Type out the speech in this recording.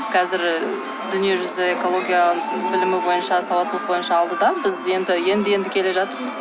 қазір і дүние жүзі экология білімі бойынша сауаттылық бойынша алдыда біз енді енді енді келе жатырмыз